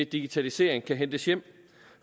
digitalisering kan hentes hjem